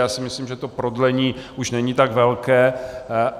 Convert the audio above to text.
Já si myslím, že to prodlení už není tak velké.